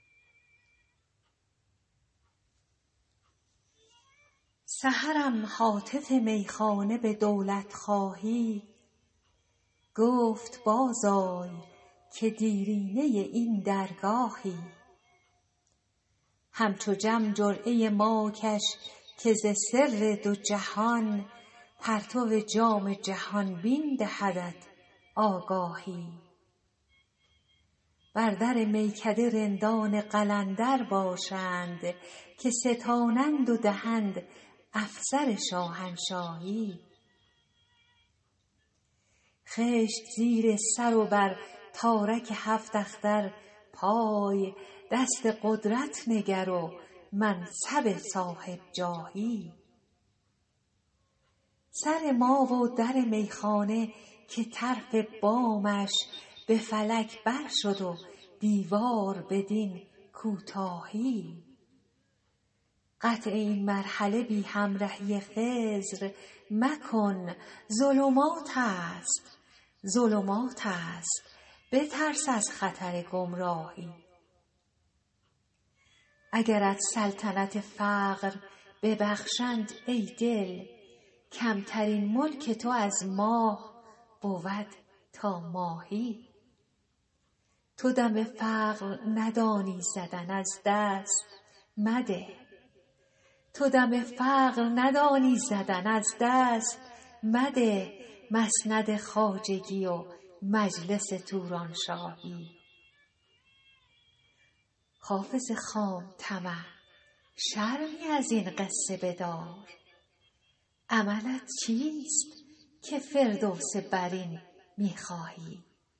سحرم هاتف میخانه به دولت خواهی گفت باز آی که دیرینه این درگاهی همچو جم جرعه ما کش که ز سر دو جهان پرتو جام جهان بین دهدت آگاهی بر در میکده رندان قلندر باشند که ستانند و دهند افسر شاهنشاهی خشت زیر سر و بر تارک هفت اختر پای دست قدرت نگر و منصب صاحب جاهی سر ما و در میخانه که طرف بامش به فلک بر شد و دیوار بدین کوتاهی قطع این مرحله بی همرهی خضر مکن ظلمات است بترس از خطر گمراهی اگرت سلطنت فقر ببخشند ای دل کمترین ملک تو از ماه بود تا ماهی تو دم فقر ندانی زدن از دست مده مسند خواجگی و مجلس تورانشاهی حافظ خام طمع شرمی از این قصه بدار عملت چیست که فردوس برین می خواهی